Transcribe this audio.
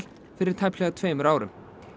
fyrir tæplega tveimur árum